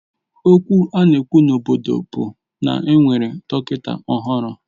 Okwu a na-ekwu n'obodo bụ na e nwere dọkịta ọhụrụ